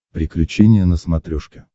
приключения на смотрешке